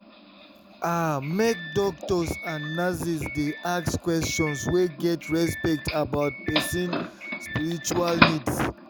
ah make doctors and and nurses dey ask questions wey get respect about person spiritual needs.